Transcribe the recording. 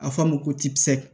A fɔ a ma ko tikisi